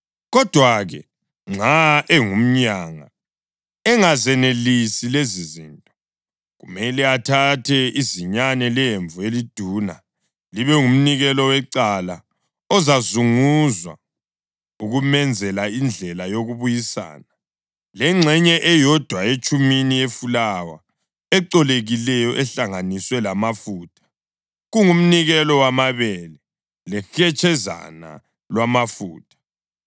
Kodwa-ke, nxa engumyanga, engazenelisi lezizinto, kumele athathe izinyane lemvu eliduna libe ngumnikelo wecala ozazunguzwa ukumenzela indlela yokubuyisana, lengxenye eyodwa etshumini yefulawa ecolekileyo ehlanganiswe lamafutha, kungumnikelo wamabele, lehetshezana lwamafutha,